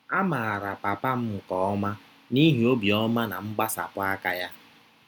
A maara papa m nke ọma n’ihi obiọma na mgbasapụ aka ya